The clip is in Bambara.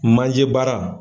Manje baara.